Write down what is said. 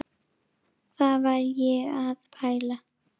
Hvað var ég að pæla?